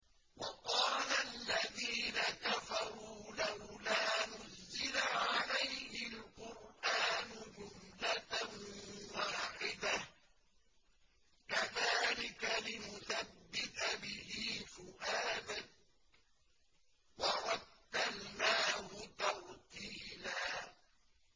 وَقَالَ الَّذِينَ كَفَرُوا لَوْلَا نُزِّلَ عَلَيْهِ الْقُرْآنُ جُمْلَةً وَاحِدَةً ۚ كَذَٰلِكَ لِنُثَبِّتَ بِهِ فُؤَادَكَ ۖ وَرَتَّلْنَاهُ تَرْتِيلًا